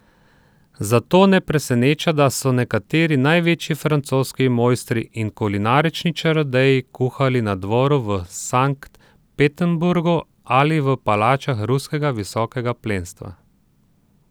Zato ne preseneča, da so nekateri največji francoski mojstri in kulinarični čarodeji kuhali na dvoru v Sankt Peterburgu ali v palačah ruskega visokega plemstva.